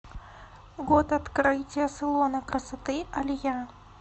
год открытия салона красоты алия